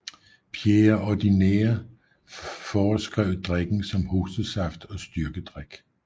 Pierre Ordinaire foreskrev drikken som hostesaft og styrkedrik